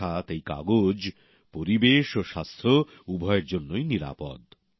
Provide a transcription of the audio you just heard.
অর্থাৎ এই কাগজ পরিবেশ ও স্বাস্থ্য উভয়ের জন্যই নিরাপদ